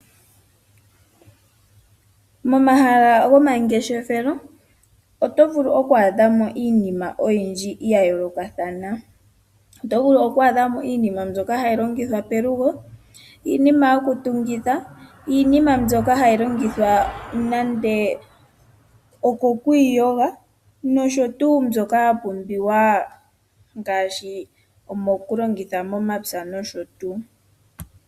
Momahala gomangeshefelo oto vulu oku adhamo iinima oyindji ya yoolokathana, oto vulu oku adhamo iinima mbyoka hayi longithwa pelugo, iinima yoku tungitha, iinima mbyoka hayi longthwa nando okwiiyoga nosho tuu mbyoka ya pumbiwa ngashi oku longitha momapya nosho tuu.